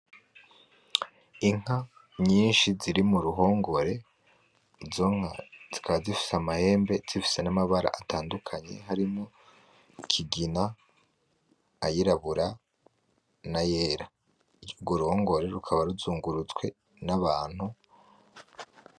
Inka nyinshi ziri mu ruhongore, izo nka zikaba zifise amahembe zifise n'amabara atandukanye harimwo ikigina, ayirabura, n'ayera. Urwo ruhongore rukaba ruzungurutswe n'abantu.